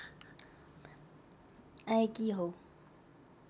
आएकी हौ